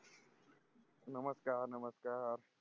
नमस्कार नमस्कार